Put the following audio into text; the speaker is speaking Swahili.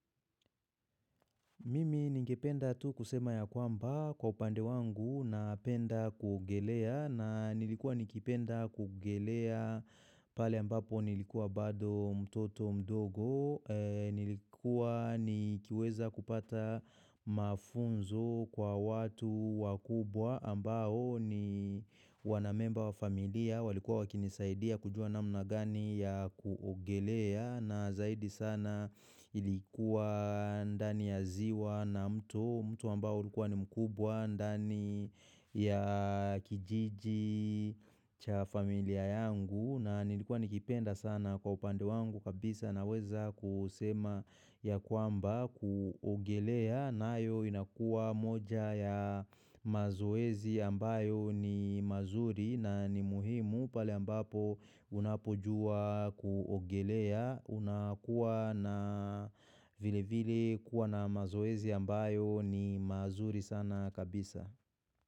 Mimi ningependa tu kusema ya kwamba kwa upande wangu napenda kuogelea na nilikuwa nikipenda kuogelea pale ambapo nilikuwa bado mtoto mdogo, nilikuwa nikiweza kupata mafunzo kwa watu wakubwa ambao ni wanamemba wa familia walikuwa wakinisaidia kujua namna gani ya kuogelea na zaidi sana ilikuwa ndani ya ziwa na mto, mto ambao ilikuwa ni mkubwa ndani ya kijiji cha familia yangu na nilikuwa nikipenda sana kwa upande wangu kabisa naweza kusema ya kwamba kuogelea nayo inakuwa moja ya mazoezi ambayo ni mazuri na ni muhimu pale ambapo unapojua kuogelea unakuwa na vile vile kuwa na mazoezi ambayo ni mazuri sana kabisa.